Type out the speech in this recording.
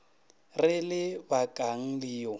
re le bakang le yo